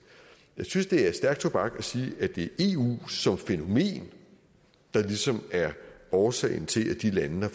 jeg synes det er stærk tobak at sige at det er eu som fænomen der ligesom er årsagen til at de lande har